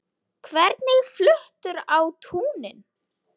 Hvernig fluttur á túnin?